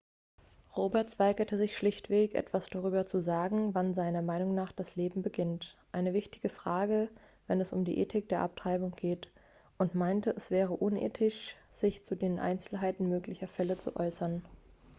roberts weigerte sich schlichtweg etwas darüber zu sagen wann seiner meinung nach das leben beginnt eine wichtige frage wenn es um die ethik der abtreibung geht und meinte es wäre unethisch sich zu den einzelheiten möglicher fälle zu äußern